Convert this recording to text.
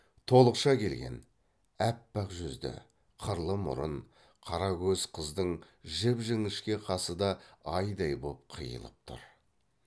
толықша келген аппақ жүзді қырлы мұрын қара көз қыздың жіп жіңішке қасы да айдай боп қиылып тұр